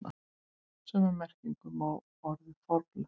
Sömu merkingu hefur orðið forlög.